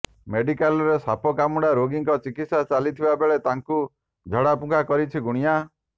ମେଡିକାଲରେ ସାପ କାମୁଡା ରୋଗୀର ଚିକିତ୍ସା ଚାଲିଥିବ ବେଳେ ତାଙ୍କୁ ଝାଡା ଫୁଙ୍କା କରିଛି ଗୁଣିଆ